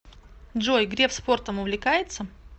джой греф спортом увлекается